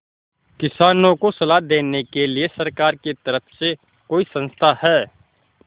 किसानों को सलाह देने के लिए सरकार की तरफ से कोई संस्था है